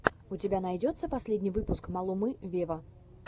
у тебя найдется последний выпуск малумы вево